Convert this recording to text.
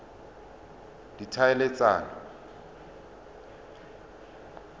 ditlhaeletsano